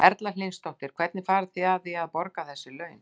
Erla Hlynsdóttir: Hvernig farið þið að því að, að borga þessi laun?